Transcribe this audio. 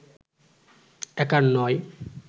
একার নয়